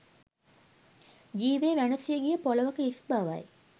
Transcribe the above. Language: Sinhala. ජීවය වැනසී ගිය පොළවක හිස් බවයි